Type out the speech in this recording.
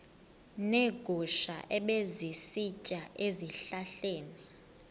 neegusha ebezisitya ezihlahleni